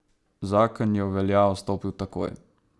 Zakon je v veljavo stopil takoj.